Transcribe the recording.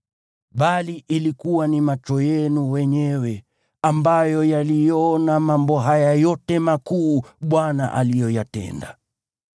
Bali ilikuwa ni macho yenu wenyewe ambayo yaliyaona mambo haya yote makuu Bwana aliyoyatenda.